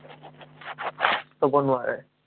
ক'ব নোৱাৰে।